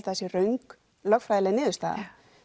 að það sé röng lögfræðileg niðurstaða